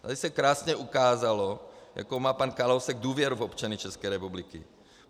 Tady se krásně ukázalo, jakou má pan Kalousek důvěru v občany České republiky.